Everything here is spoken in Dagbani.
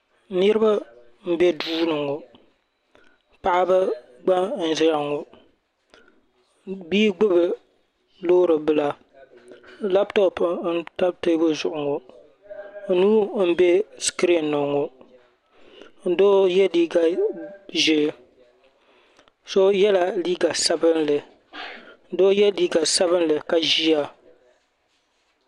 Niriba n be duu ni ŋɔ paɣaba gba n zaya ŋɔ bia gbibi loori bila laaputopu n tam teebuli zuɣu ŋɔ nuu m be sikirin ni ŋɔ doo ye liiga ʒee so yela liiga sabinli doo ye liiga sabinli ka ʒiya.